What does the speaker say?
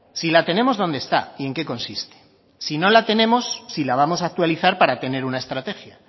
si la tenemos dónde está y en qué consiste si no la tenemos si la vamos a actualizar para tener una estrategia